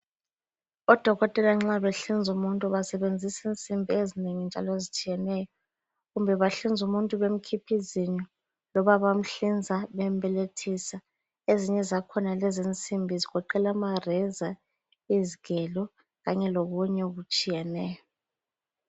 Odokotela nxa benhlinza umuntu basebenzisa insimbi ezinengi njalo ezitshiyeneyo. Kumbe bahlinza umuntu bemkhipha izinyo loba bamhlinza bembelethisa. Ezinye zakhona lezinsimbi zigoqela amareza, izigelo kanye lokunye okutshiyeneyo.